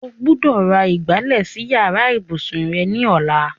O gbọ́dọ̀ ra ìgbálẹ̀ sí yàrá ìbùsùn rẹ ní ọ̀la.